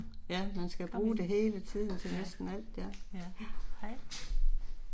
Ja man skal bruge det hele tiden til næsten alt ja, ja